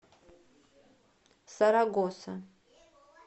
сарагоса